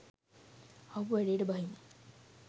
ආපු වැඩේට බහිමු.